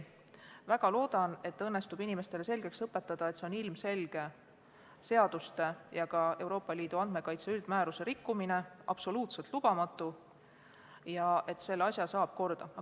Ma väga loodan, et inimestele õnnestub selgeks teha, et see on ilmselge seaduste ja ka Euroopa Liidu andmekaitse üldmääruse rikkumine ning see on absoluutselt lubamatu, aga selle asja saab korda.